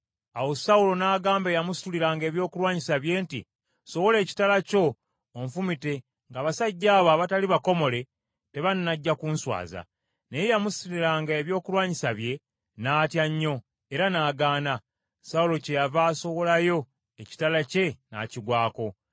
Awo Sawulo n’agamba eyamusituliranga ebyokulwanyisa bye nti, “Sowola ekitala kyo, onfumite, ng’abasajja abo abatali bakomole tebannajja ku nswaza.” Naye eyamusituliranga ebyokulwanyisa bye n’atya nnyo, era n’agaana. Sawulo kyeyava asowolayo ekitala kye n’akigwako.